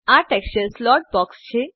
આ texture slot boxછે